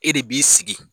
E de b'i sigi